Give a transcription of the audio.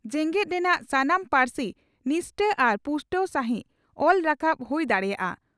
ᱡᱮᱜᱮᱛ ᱨᱮᱱᱟᱜ ᱥᱟᱱᱟᱢ ᱯᱟᱹᱨᱥᱤ ᱱᱤᱥᱴᱟᱹ ᱟᱨ ᱯᱩᱥᱴᱟᱹᱣ ᱥᱟᱹᱦᱤᱡ ᱚᱞ ᱨᱟᱠᱟᱵ ᱦᱩᱭ ᱫᱟᱲᱮᱭᱟᱜᱼᱟ ᱾